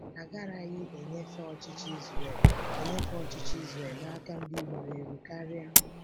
Agaraghị enyefe ọchịchị Israel enyefe ọchịchị Israel n'aka ndị ruru eru karịa.